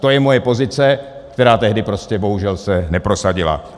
To je moje pozice, která tehdy prostě bohužel se neprosadila.